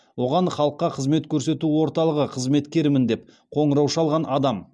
оған халыққа қызмет көрсету орталығы қызметкерімін деп қоңырау шалған адам